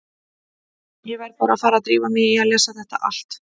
Ég verð bara að fara að drífa mig í að lesa þetta allt.